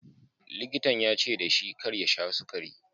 Likitan ya ce da shi kar ya sha sukari.